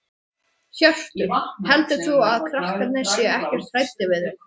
Hjörtur: Heldur þú að krakkarnir séu ekkert hræddir við þig?